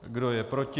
Kdo je proti?